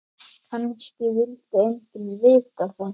Kannski vildi enginn vita það.